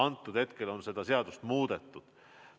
Nüüd on seda seadust muudetud.